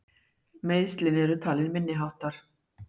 Meiðslin eru talin minniháttar